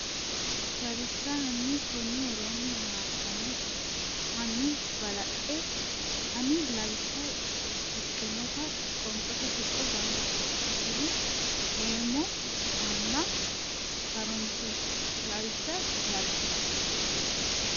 Lawishsha hanni konni woroonni Hanni balaxe ani lawishsha shiqqinota qoonqote tuqqo gamba assitine eemmo ana ha runse e Lawishsha Lawishsha.